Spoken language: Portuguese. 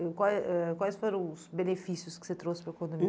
E quais foram os benefícios que você trouxe para o condomínio?